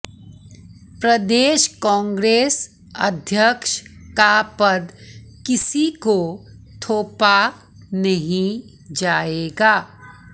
प्रदेश कांग्रेस अध्यक्ष का पद किसी को थोपा नहीं जाएगा